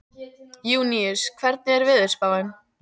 Júníus, hvernig er veðurspáin?